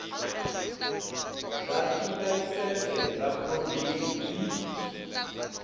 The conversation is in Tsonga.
bya tilayisense bya provhinsi byi